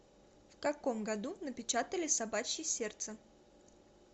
в каком году напечатали собачье сердце